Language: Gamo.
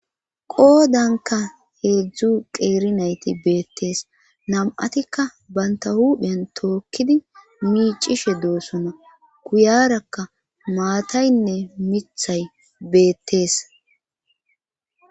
qoodanka heedzdzu qeeri nayti beettees nam'atikka banta hupheyan tookkidi miicishe doosona kuyarakka maataynne mithay beettees